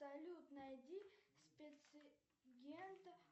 салют найди спец агента